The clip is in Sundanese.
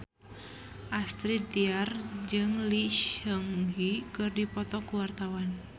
Astrid Tiar jeung Lee Seung Gi keur dipoto ku wartawan